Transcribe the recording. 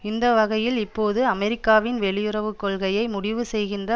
இந்த வகையில் இப்போது அமெரிக்காவின் வெளியுறவு கொள்கையை முடிவு செய்கின்ற